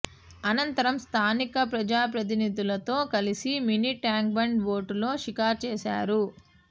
అనంతరం స్థానిక ప్రజాప్రతినిధులతో కలిసి మినీ ట్యాంక్ బండ్ బోటులో షికారు చేశారు